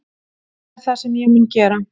Það er það sem ég mun gera